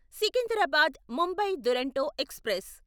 Secunderabad Mumbai Duronto express